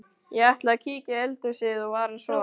Ég ætla að kíkja í eldhúsið og fara svo.